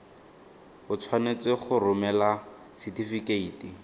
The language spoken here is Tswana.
o tshwanetse go romela setefikeiti